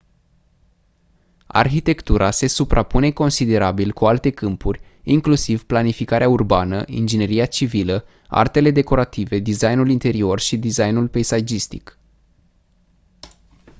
arhitectura se suprapune considerabil cu alte câmpuri inclusiv planificarea urbană ingineria civilă artele decorative designul interior și designul peisagistic